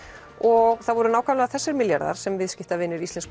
og það voru nákvæmlega þessir milljarðar sem viðskiptavinir íslensku